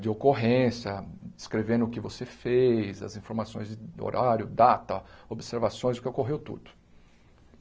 de ocorrência, descrevendo o que você fez, as informações de horário, data, observações o que ocorreu tudo.